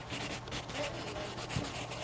ge o e ba le